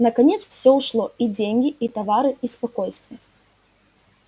наконец всё ушло и деньги и товары и спокойствие